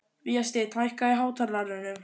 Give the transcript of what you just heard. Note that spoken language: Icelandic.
Vésteinn, hækkaðu í hátalaranum.